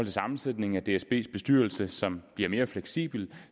sammensætningen af dsbs bestyrelse som bliver mere fleksibel